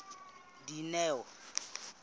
dineo